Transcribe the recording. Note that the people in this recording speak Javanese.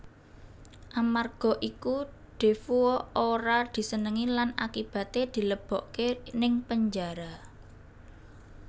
Amarga iku Defoe ora disenengi lan akibaté dilebokké ning penjara